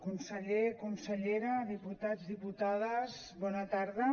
conseller consellera diputats diputades bona tarda